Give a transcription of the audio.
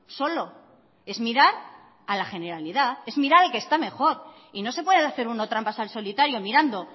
solo es mirar a la generalidad es mirar al que está mejor y no se puede hacer uno trampas al solitario mirando